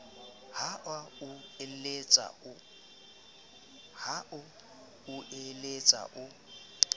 ha a o letsa o